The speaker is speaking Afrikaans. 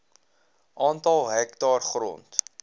aantal hektaar grond